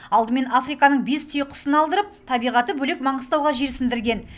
алдымен африканың бес түйеқұсын алдырып табиғаты бөлек маңғыстауға жерсіндірген